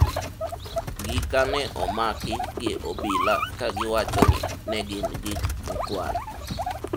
gika ne omaki gi obila kagiwacho ni ne gin gik mokwal